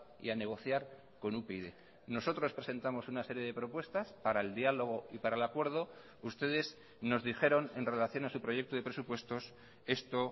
y a negociar con upyd nosotros presentamos una serie de propuestas para el diálogo y para el acuerdo ustedes nos dijeron en relación a su proyecto de presupuestos esto